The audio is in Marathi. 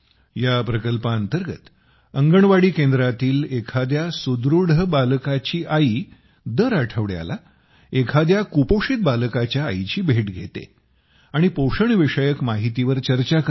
या प्रकल्पांतर्गत अंगणवाडी केंद्रातील एखाद्या सुदृढ बालकाची आई दर आठवड्याला एखादया कुपोषित बालकाच्या आईची भेट घेते आणि पोषणविषयक माहितीवर चर्चा करते